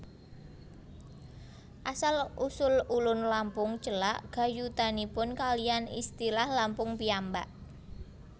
Asal usul Ulun Lampung celak gayutanipun kaliyan istilah Lampung piyambak